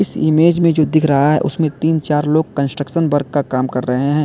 इस इमेज में जो दिख रहा है उसमें तीन चार लोग कंस्ट्रक्शन वर्क का काम कर रहे हैं।